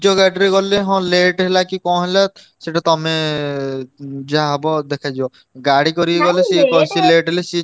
ନିଜ ଗାଡିରେ ଗଲେ ହଁ late ହେଲା କି କଣ ହେଲା ସେଇଟା ତମେ ଯାହା ହବ ଦେଖାଯିବ। ଗାଡି କରିକି ଗଲେ ବେଶୀ late ହେଲେ ସିଏ,